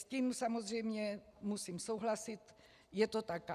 S tím samozřejmě musím souhlasit, je to tak.